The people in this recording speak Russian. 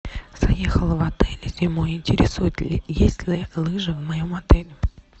заехала в отель зимой интересует есть ли лыжи в моем отеле